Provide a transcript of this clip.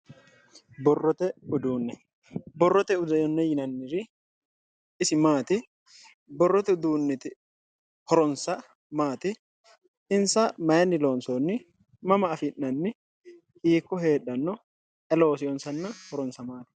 Borrote uduune, borrote uduune yineemmohori isi maati? Borrote uduuniti horose maati ,insa mayini loonsonni ,mama afi'nanni ,hiikko heedhano, ayi looseyonsanna horonsa maati?